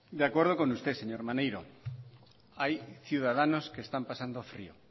de acuerdo con usted señor maneiro hay ciudadanos que están pasando frio